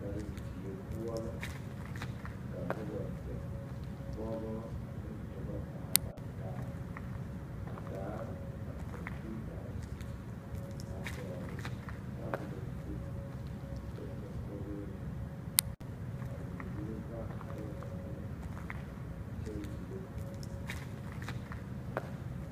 Karendie poɔ la ka noba zeŋ pɔɡabɔ ane dɔbɔ zaa lantaa a taa ba kɔmpiitare a dɔɡele tabolɔ zuri kyɛ zeŋ koɡri meŋ zu a wuliwullo pãã arɛɛ ba niŋe kyɛ wulo .